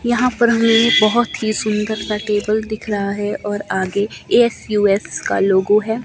यहां पर हमें बहोत ही सुंदर सा टेबल दिख रहा है और आगे एस यू एस का लोगो है।